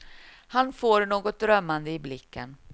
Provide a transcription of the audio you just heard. Han får något drömmande i blicken.